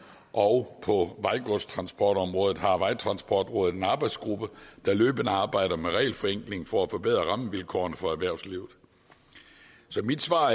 og på vejgodstransportområdet har vejtransportrådet en arbejdsgruppe der løbende arbejder med regelforenkling for at forbedre rammevilkårene for erhvervslivet så mit svar